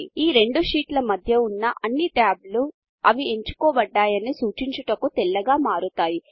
ఈ రెండు షీట్ల మధ్య ఉన్న అన్ని టాబ్లు అవి ఎంచుకోబడ్డాయని సూచించుటకు తెల్లగా మారతాయి